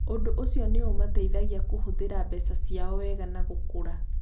Ũndũ ũcio nĩ ũmateithagia kũhũthĩra mbeca ciao wega na gũkũra.